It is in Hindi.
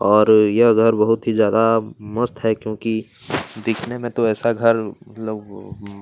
और यह घर बहुत ही ज्यादा मस्त है क्योंकि दिखने में तो ऐसा घर मतलब --